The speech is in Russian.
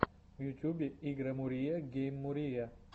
в ютубе игромурия гейммурия